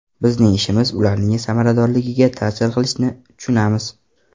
Bizning ishimiz ularning samaradorligiga ta’sir qilishini tushunamiz.